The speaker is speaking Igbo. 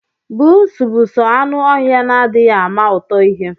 Pusi bu soo anụ oha na adiighi ama ụtọ ihe.